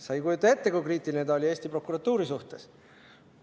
Sa ei kujuta ette, kui kriitiline ta oli Eesti prokuratuuri suhtes.